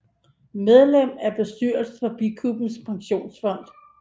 Medlem af bestyrelsen for Bikubens Pensionsfond